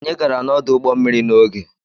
Anyị gara n'ọdụ ụgbọ mmiri n'oge.